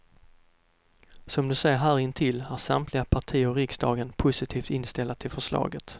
Som du ser här intill är samtliga partier i riksdagen positivt inställda till förslaget.